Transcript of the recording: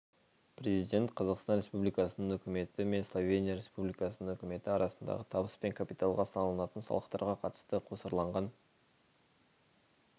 президент қазақстан республикасының үкіметі мен словения республикасының үкіметі арасындағы табыс пен капиталға салынатын салықтарға қатысты қосарланған